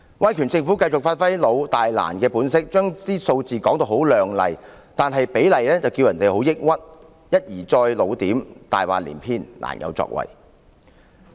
威權政府繼續發揮"老、大、難"的本色，把數字說得很亮麗，但其實比例卻令人很抑鬱，一而再地"老點"、"大話連篇"、"難有作為"。